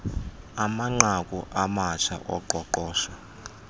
amanqaku amatsha oqoqosho